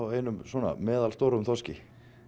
einum svona meðalstórum þorski